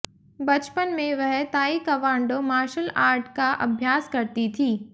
बचपन में वह ताई कवांडो मार्शल आर्ट का अभ्यास करती थी